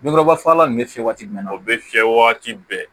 Binkuraba fagalan ninnu bɛ fiyɛ waati min na o bɛ fiyɛ waati bɛɛ